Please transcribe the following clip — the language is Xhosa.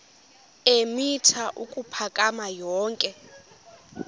eemitha ukuphakama yonke